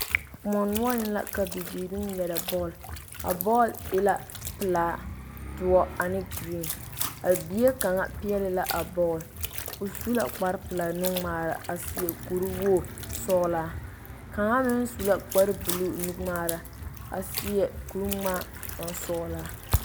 koɔ noɔreŋ la ka bibiiri ŋmeɛre bɔl, a bɔl e la pelaa doɔre ane vaare a bie kaŋa. pɛɛle la a bɔl, o su la kpar pelaa. nu ŋmaara a seɛ kur wogi sɔglaa. kaŋa meŋ su la kpar buluu nu ŋmaara a seɛ kur ŋmaa bon bonsɔglaa.